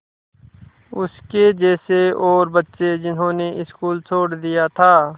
उसके जैसे और बच्चे जिन्होंने स्कूल छोड़ दिया था